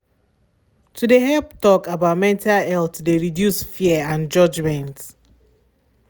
to de help talk about mental health de reduce fear and judgement.